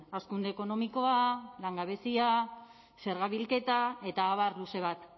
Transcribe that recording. hazkunde ekonomikoa langabezia zerga bilketa eta abar luze bat